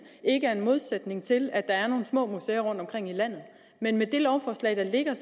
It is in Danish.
ikke er en modsætning til at der er nogle små museer rundtomkring i landet men med det lovforslag der ligger